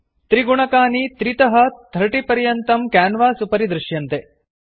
त्रिगुणकानि 3 तः 30 पर्यन्तं क्यान्वास् उपरि दृश्यन्ते